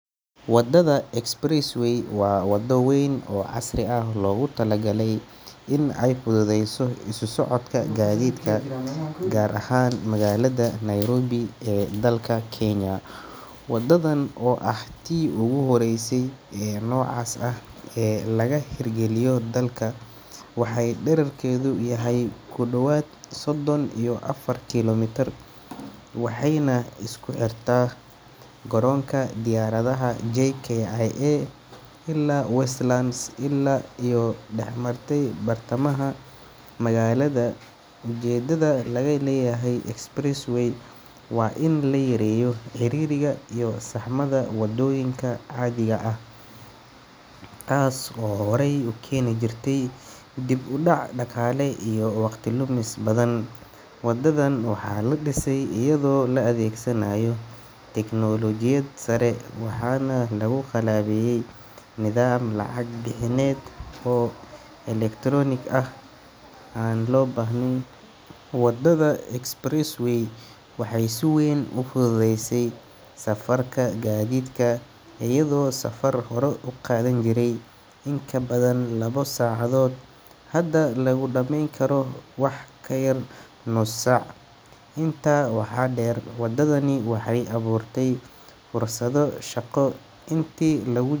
Wadada Expressway waa waddo weyn oo casri ah oo loogu talagalay in ay fududeyso isu socodka gaadiidka, gaar ahaan magaalada Nairobi ee dalka Kenya. Wadadan oo ah tii ugu horreysay ee noocaas ah ee laga hirgeliyo dalka, waxay dhererkeedu yahay ku dhowaad sodon iyo afar kiiloomitir waxayna isku xirtaa garoonka diyaaradaha JKIA ilaa Westlands, iyadoo dhex martay bartamaha magaalada. Ujeeddada laga leeyahay Expressway waa in la yareeyo ciriiriga iyo saxmadda waddooyinka caadiga ah, taas oo horey u keeni jirtay dib u dhac dhaqaale iyo waqti lumis badan. Wadadan waxaa la dhisay iyadoo la adeegsanayo tiknoolojiyad sare, waxaana lagu qalabeeyay nidaam lacag bixineed oo electronic ah, si aan loo baahnayn in gaadiidku istaago. Wadada Expressway waxay si weyn u fududeysay safarka gaadiidka, iyadoo safar hore u qaadan jiray in ka badan labo saacadood hadda lagu dhameyn karo wax ka yar nus saac. Intaa waxaa dheer, wadadani waxay abuurtay fursado shaqo intii lagu.